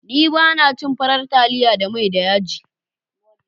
Ni ba na cin farar taliya da mai da yaji.